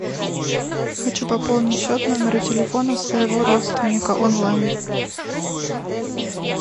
хочу пополнить счет номера телефона своего родственника онлайн